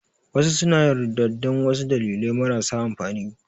Wasu suna yin ridda dan wasu dalilai marasa amfani